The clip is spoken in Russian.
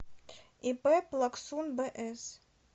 ип плаксун бс